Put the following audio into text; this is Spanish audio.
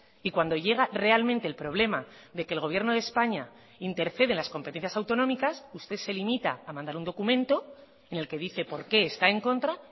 y cuando llega realmente el problema de que el gobierno de españa intercede en las competencias autonómicas usted se limita a mandar un documento en el que dice por qué está en contra